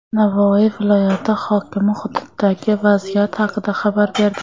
Navoiy viloyati hokimi hududdagi vaziyat haqida xabar berdi.